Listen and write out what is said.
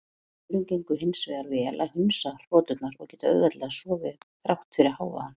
Öðrum gengur hins vegar vel að hundsa hroturnar og geta auðveldlega sofið þrátt fyrir hávaðann.